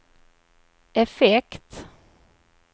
effekt